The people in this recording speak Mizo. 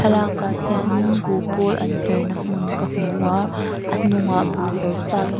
a thlalak ah hian in buhpawl an her na hmun ka hmu a a hnung ah buh her sa tam--